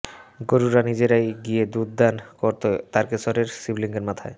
গরুরা নিজেরাই গিয়ে দুধ দান করত তারকেশ্বরের শিবলঙ্গের মাথায়